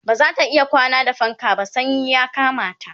bazata iya kwana da fanka ba sanyi ya Kamata